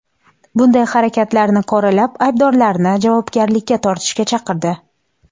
Bunday harakatlarni qoralab, aybdorlarni javobgarlikka tortishga chaqirdi.